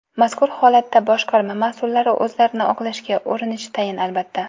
Mazkur holatda boshqarma mas’ullari o‘zlarini oqlashga urinishi tayin, albatta.